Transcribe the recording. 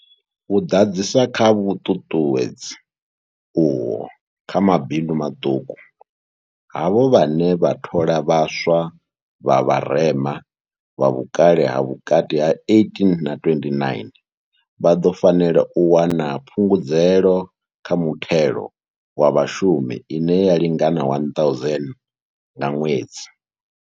U ḓadzisa kha vhuṱuṱuwedzi uho kha mabindu maṱuku, havho vhane vha thola vha swa vha vharema, vha vhukale ha vhukati ha 18 na 29, vha ḓo fanela u wana phungudzo kha muthelo wa vhashumi ine ya lingana R1 000 nga ṅwedzi.